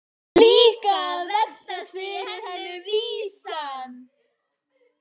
Líka að veltast í henni vísan.